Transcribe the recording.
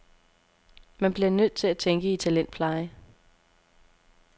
Man bliver nødt til at tænke i talentpleje.